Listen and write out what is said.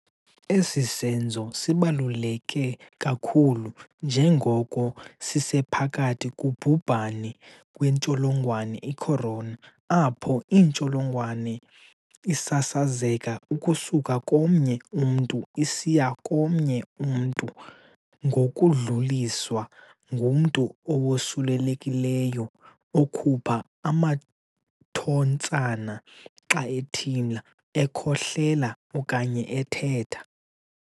Esi senzo sibaluleke kakhulu njengoko sisephakathi kubhubhane wentsholongwane i-Corona apho intsholongwane isasazeka ukusuka komnye umntu isiya komnye umntu ngokudluliswa ngumntu owosulelekileyo okhupha amathontsana xa ethimla, ekhohlela okanye ethetha.